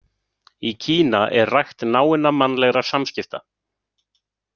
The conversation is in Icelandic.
Í Kína er rækt náinna mannlegra samskipta.